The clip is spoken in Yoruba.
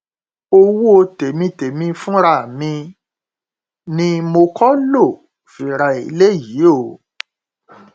owó tèmi tèmi fúnra mi ni mo kọ lóo fi ra eléyìí o